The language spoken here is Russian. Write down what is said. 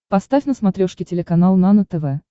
поставь на смотрешке телеканал нано тв